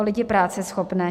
O lidi práceschopné.